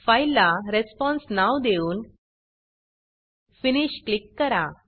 फाईलला responseरेस्पॉन्स नाव देऊन Finishफिनिश क्लिक करा